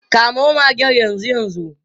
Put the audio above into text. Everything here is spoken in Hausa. Kamo magen yanzu yanzu.